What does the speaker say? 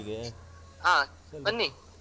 ಹಾ ಬನ್ನಿ.